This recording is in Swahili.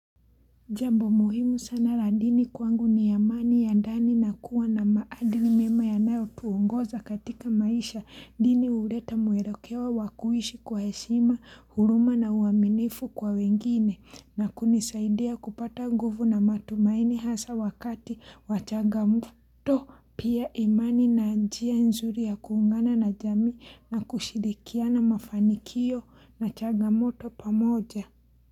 Jambo muhimu sana la dini kwangu ni amani ya ndani na kuwa na maadili mema yanayotuongoza katika maisha dini uleta muerekewo wa kuishi kwa heshima huruma na uaminifu kwa wengine na kunisaidia kupata nguvu na matumaini hasa wakati wa changamoto pia imani na njia nzuri ya kuungana na jami na kushirikiana mafanikio na changamoto pamoja.